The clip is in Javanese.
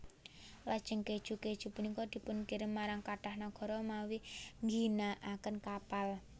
Lajeng kèju kèju punika dipunkirim marang kathah nagara mawi ngginakaken kapal